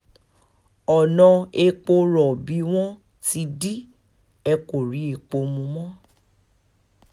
ọ̀nà epo rọ̀bì wọn ti dì í ẹ̀ kò rí epo mú mọ́